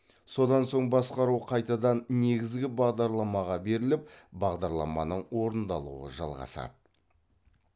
содан соң басқару қайтадан негізгі бағдарламаға беріліп бағдарламаның орындалуы жалғасады